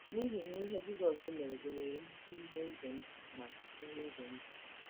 N'ihi na ihe Jizọs mere gụnyere nnukwu ihe ize ndụ na ihe ize ndụ.